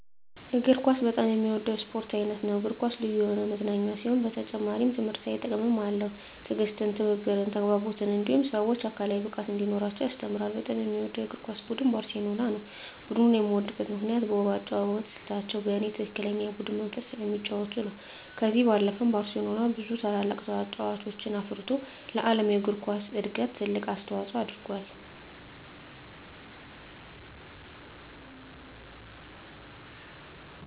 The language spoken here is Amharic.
እግር ኳስ በጣም የምወደው የስፖርት አይነት ነው። እግር ኳስ ልዩ የሆነ መዝናኛ ሲሆን በተጨማሪም ትምህርታዊ ጥቅምም አለው። ትዕግስትን፣ ትብብርን፣ ተግባቦትን እንዲሁም ሰወች አካላዊ ብቃት እንዲኖራቸው ያስተምራል። በጣም የምወደው የእግር ኳስ ቡድን ባርሴሎናን ነው። ቡድኑን የምወድበት ምክንያት በውብ የአጨዋወት ስልታቸው እኔ በትክክለኛ የቡድን መንፈስ ስለሚጫወቱ ነው። ከዚህ ባለፈም ባርሴሎና ብዙ ታላላቅ ተጫዋቾችን አፍርቶ ለዓለም እግር ኳስ እድገት ትልቅ አስተዋፅኦ አድርጎአል።